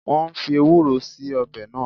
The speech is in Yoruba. Wọn fii Ewúró síí ọbẹ̀ náà